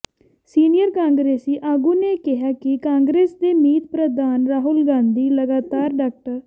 senior ਕਾਂਗਰਸੀ ਆਗੂ ਨੇ ਕਿਹਾ ਕਿ ਕਾਂਗਰਸ ਦੇ ਮੀਤ ਪ੍ਰਧਾਨ ਰਾਹੁਲ ਗਾਂਧੀ ਲਗਾਤਾਰ ਡਾ